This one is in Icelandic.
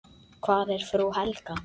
Hvar er frú Helga?